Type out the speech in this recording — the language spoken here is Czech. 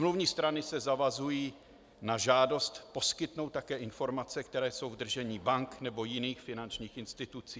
Smluvní strany se zavazují na žádost poskytnout také informace, které jsou v držení bank nebo jiných finančních institucí.